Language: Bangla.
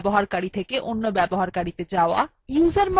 su command দ্বারা এক user থেকে userএ যাওয়া